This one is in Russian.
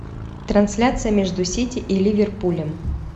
трансляция между сити и ливерпулем